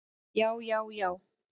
Já, já, já!